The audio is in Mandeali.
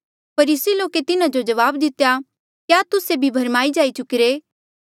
फरीसी लोके तिन्हा जो जवाब दितेया क्या तुस्से भी भरमाई जाई चुकिरे